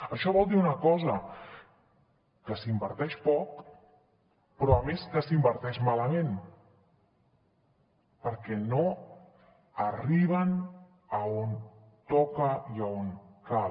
això vol dir una cosa que s’inverteix poc però a més que s’inverteix malament perquè no arriben a on toca i a on cal